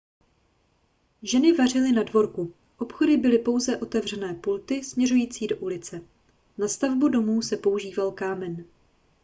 ženy vařily na dvorku obchody byly pouze otevřené pulty směřující do ulice na stavbu domů se používal kámen